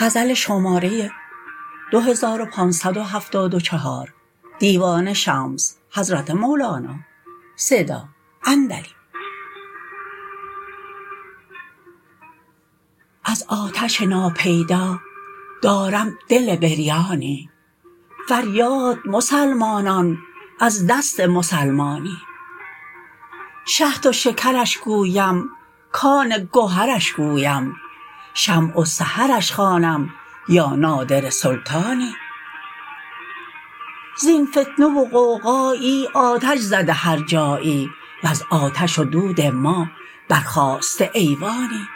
از آتش ناپیدا دارم دل بریانی فریاد مسلمانان از دست مسلمانی شهد و شکرش گویم کان گهرش گویم شمع و سحرش خوانم یا نادره سلطانی زین فتنه و غوغایی آتش زده هر جایی وز آتش و دود ما برخاسته ایوانی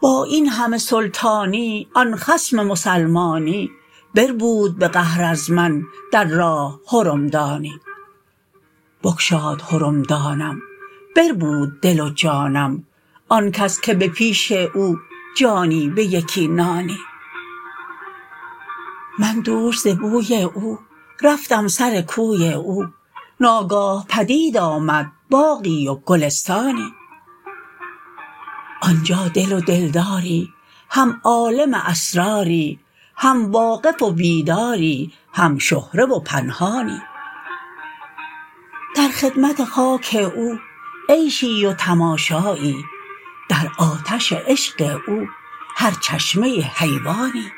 با این همه سلطانی آن خصم مسلمانی بربود به قهر از من در راه حرمدانی بگشاد حرمدانم بربود دل و جانم آن کس که به پیش او جانی به یکی نانی من دوش ز بوی او رفتم سر کوی او ناگاه پدید آمد باغی و گلستانی آن جا دل و دلداری هم عالم اسراری هم واقف و بیداری هم شهره و پنهانی در خدمت خاک او عیشی و تماشایی در آتش عشق او هر چشمه حیوانی